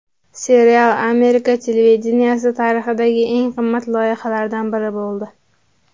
Serial Amerika televideniyesi tarixidagi eng qimmat loyihalardan biri bo‘ldi.